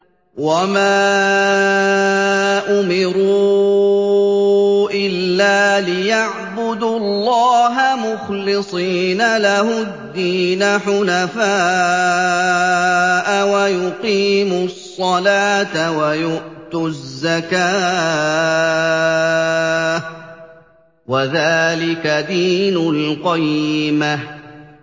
وَمَا أُمِرُوا إِلَّا لِيَعْبُدُوا اللَّهَ مُخْلِصِينَ لَهُ الدِّينَ حُنَفَاءَ وَيُقِيمُوا الصَّلَاةَ وَيُؤْتُوا الزَّكَاةَ ۚ وَذَٰلِكَ دِينُ الْقَيِّمَةِ